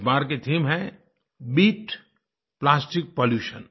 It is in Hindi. इस बार की थीम है बीट प्लास्टिक पॉल्यूशन